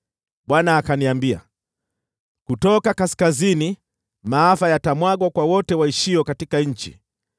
Bwana akaniambia, “Kutoka kaskazini maafa yatamwagwa kwa wote waishio katika nchi.